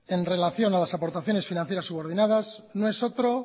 en relación a las aportaciones financieras subordinadas no es otro